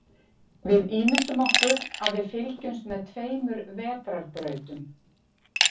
Við ímyndum okkur að við fylgjumst með tveimur vetrarbrautum.